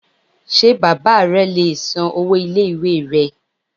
Ṣé bàbá re le è san owó ilé ìwé rẹ